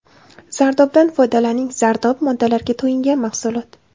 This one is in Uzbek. Zardobdan foydalaning Zardob – moddalarga to‘yingan mahsulot.